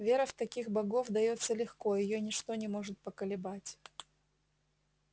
вера в таких богов даётся легко её ничто не может поколебать